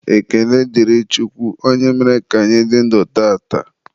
Ekene dịrị Chukwu onye mere ka anyị dị ndụ tata.